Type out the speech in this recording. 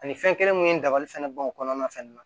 Ani fɛn kelen mun ye dabali fɛnɛ b'o kɔnɔna fɛnɛ na